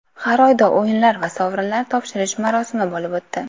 Har oyda o‘yinlar va sovrinlar topshirish marosimi bo‘lib o‘tdi.